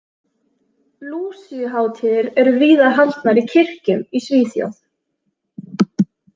Lúsíuhátíðir eru víða haldnar í kirkjum í Svíþjóð.